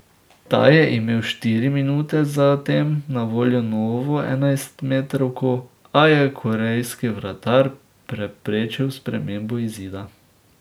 Ta je imel štiri minute zatem na voljo novo enajstmetrovko, a je korejski vratar preprečil spremembo izida.